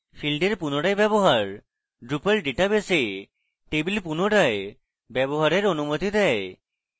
field re পুনরায় ব্যবহার drupal database a table পুনরায় ব্যবহারের অনুমতি দেয়